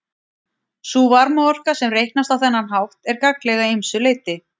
Sú varmaorka sem reiknast á þennan hátt er gagnleg að ýmsu leyti.